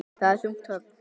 Það er þungt högg.